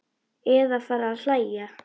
Eða fara að hlæja.